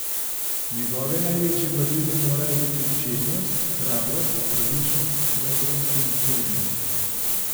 Njegove največje vrline morajo biti čednost, hrabrost, pravičnost, modrost in zmernost.